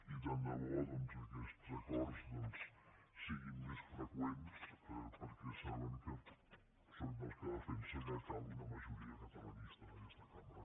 i tant de bo doncs que aquests acords siguin més freqüents perquè saben que sóc dels que defensa que cal una majoria catalanista en aquesta cambra